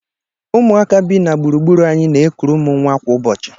Ụmụaka bi na gburugburu anyị na-ekuru m nwa kwa ụbọchị.